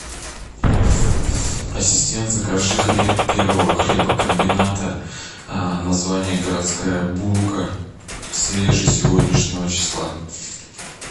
ассистент закажи хлеб первого хлебокомбината название городская булка свежий сегодняшнего числа